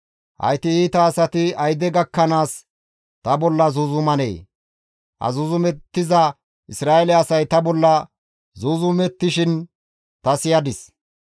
«Hayti iita asati ayde gakkanaas ta bolla zuuzumanee? Ha zuuzumettiza Isra7eele asay ta bolla zuuzumettishin ta siyadis.